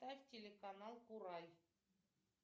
ставь телеканал курай